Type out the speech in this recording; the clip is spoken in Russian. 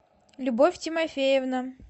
любовь тимофеевна